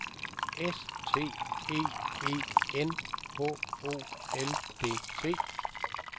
S T E E N H O L D T